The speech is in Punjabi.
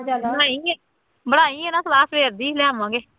ਬਣਾਈ ਫੇਰ, ਬਣਾਈ ਹੈ ਨਾ ਸਲਾਹ ਫੇਰ, ਏਦਾਂ ਹੀ ਲਿਆਵਾਂਗੇ,